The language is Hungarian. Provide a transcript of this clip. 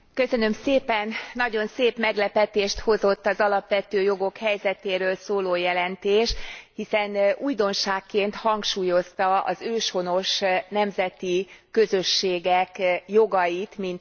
Nagyon szép meglepetést hozott az alapvető jogok helyzetéről szóló jelentés, hiszen újdonságként hangsúlyozta az őshonos nemzeti közösségek jogait, mint emberi jogokat.